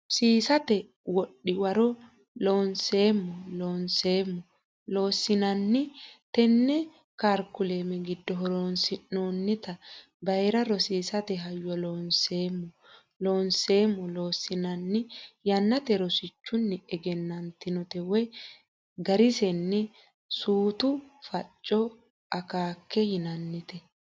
Rosiisate Wodhi woro Looseemmo Loonseemmo Loossinanni Tenne karikulame giddo horonsi noonniti bayra rosiisate hayyo Looseemmo Loonseemmo Loossinanni yaamante rosichunni egennantinote woy garisenni Suutu Facco Akeeka yinannite.